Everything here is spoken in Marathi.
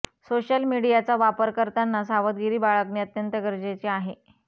सोशल मीडियाचा वापर करताना सावधगिरी बाळगणे अत्यंत गरजेचे आहे